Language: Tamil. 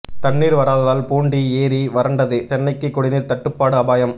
தண்ணீர் வராததால் பூண்டி ஏரி வறண்டது சென்னைக்கு குடிநீர் தட்டுப்பாடு அபாயம்